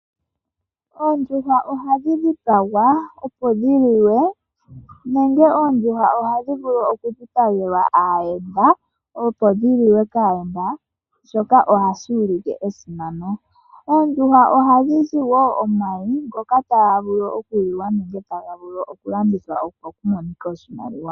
Oondjuhwa ohadhi dhipagwa opo dhiliwe nenge oondjuhwa ohadhi vulu okudhipagelwa aayenda opo dhiliwe kaayenda, shoka ohashi ulike esimano. Oondjuhwa ohadhi zi wo omayi ngoka taga vulu okuliwa nenge taga vulu okulandithwa opo kumonike oshimaliwa.